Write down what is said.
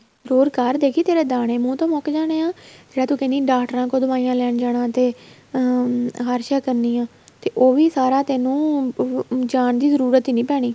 ਹੋਰ ਕਰ ਦੇਖੀ ਤੇਰੇ ਦਾਣੇ ਮੂੰਹ ਤੋ ਮੁੱਕ ਜਾਣੇ ਆ ਜਿਹੜਾ ਤੂੰ ਕਹਿੰਦੀ ਡਾਕਟਰਾਂ ਕੋਲ ਦਵਾਈਆਂ ਲੈਣ ਜਾਣਾ ਅਹ ਹਰ ਸ਼ਿਹ ਕਰਨੀਆਂ ਤੇ ਉਹੀ ਵੀ ਸਾਰਾ ਤੈਨੂੰ ਜਾਣ ਜਰੂਰਤ ਹੀ ਨਹੀਂ ਪੈਣੀ